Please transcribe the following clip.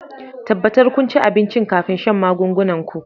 tabbatar kun ci abinci kafin shan magungunan ku